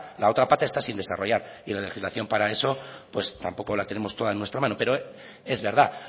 está sin desarrollar y la legislación para eso tampoco la tenemos toda en nuestra mano pero es verdad